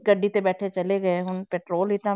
ਗੱਡੀ ਤੇ ਬੈਠੇ ਚਲੇ ਗਏ, ਹੁਣ ਪੈਟਰੋਲ ਵੀ ਤਾਂ